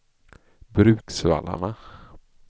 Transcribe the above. Bruksvallarna